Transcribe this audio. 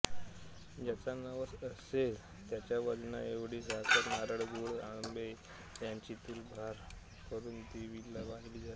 ज्याचा नवस असेल त्याच्या वजनाएवढी साखर नारळ गूळ तांबे याची तुलाभार करून देवीला वाहिली जाते